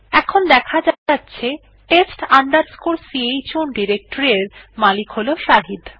এখন দেখা যাচ্ছে test chown ডিরেকটরি এর মালিক হল শাহিদ